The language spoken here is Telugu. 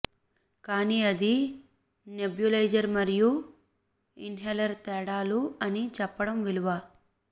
కానీ అది నెబ్యులైజర్ మరియు ఇన్హేలర్ తేడాలు అని చెప్పడం విలువ